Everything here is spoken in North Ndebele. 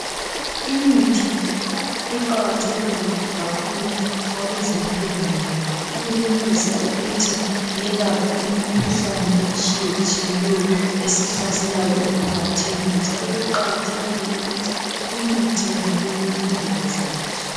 Imithi iqakathekile kakhulu kwabezempilo. Ngoba iyenelisa ukuthi yelaphe imkhuhlane etshiyetshiyeneyo. esihlaselayo emphakathini. Njalo kuqakathekile ukuthi imithi yonaleyi ilondolozwe kuhle.